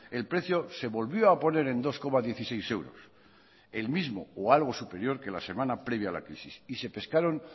el precio se volvió a poner en dos coma dieciséis euros el mismo o algo superior que la semana previa a la crisis y se pescaron